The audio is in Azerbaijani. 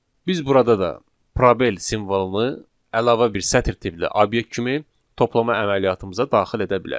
Biz burada da probel simvolunu əlavə bir sətir tipli obyekt kimi toplama əməliyyatımıza daxil edə bilərik.